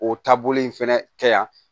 O taabolo in fɛnɛ kɛ yan